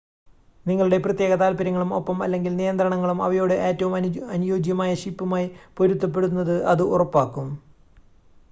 നിങ്ങളുടെ പ്രത്യേക താൽപ്പര്യങ്ങളും ഒപ്പം/അല്ലെങ്കിൽ നിയന്ത്രണങ്ങളും അവയോട് ഏറ്റവും അനുയോജ്യമായ ഷിപ്പുമായി പൊരുത്തപ്പെടുന്നത് ഇത് ഉറപ്പാക്കും